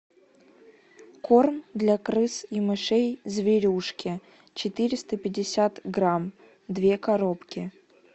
корм для крыс и мышей зверюшки четыреста пятьдесят грамм две коробки